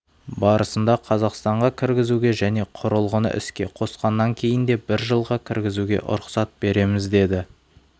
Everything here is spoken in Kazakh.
барысында қазақстанға кіргізуге және құрылғыны іске қосқаннан кейін де бір жылға кіргізуге рұқсат береміз деді